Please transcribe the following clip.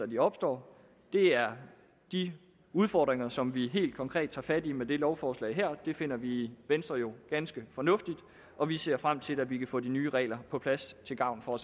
de opstår det er de udfordringer som vi helt konkret tager fat i med det lovforslag her det finder vi i venstre jo ganske fornuftigt og vi ser frem til at vi kan få de nye regler på plads til gavn for